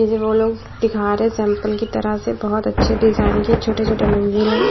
ये दिखा रहे हैं सैंपल की तरह से बहुत अच्छे डिजाइन के छोटे-छोटे मंजिल है।